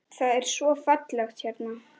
Það er svo fallegt hérna.